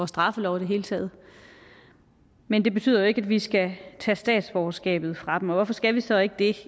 straffelov i det hele taget men det betyder ikke at vi skal tage statsborgerskabet fra dem og hvorfor skal vi så ikke det